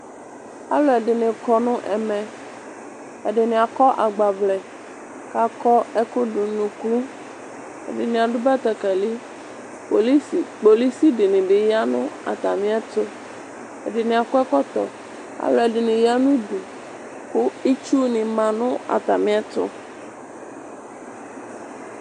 Alu ɛdɩnɩ kɔ nʋ ɛmɛ Ɛdɩnɩ akɔ agbavlɛ kʋ akɔ ɛkʋ dʋ nʋ unuku, ɛdɩnɩ adu betekeli Kpolusi dini bɩ ya nʋ atami ɛtʋ: Ɛdɩnɩ akɔ ɛkɔtɔ, alu ɛdɩnɩ ya nʋ udu, kʋ itsu ni ma nʋ atami ɛtʋ